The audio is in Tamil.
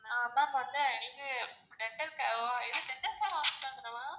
அஹ் ma'am வந்து இது எங்களுக்கு dental care இது dental care hospital தான ma'am?